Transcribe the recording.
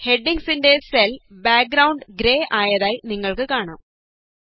ഹെഡിംഗ്സിന്റെ cell background grey ആയതായി നിങ്ങള്ക്ക് കാണാം